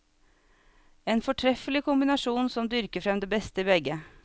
En fortreffelig kombinasjon som dyrker frem det beste i begge.